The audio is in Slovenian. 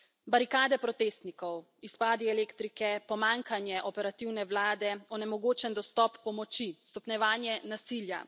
Barikade protestnikov, izpadi elektrike, pomanjkanje operativne vlade, onemogočen dostop pomoči, stopnjevanje nasilja.